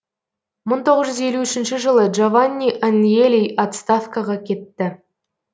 мың тоғыз жүз елу үшінші жылы джованни аньелли отставкаға кетті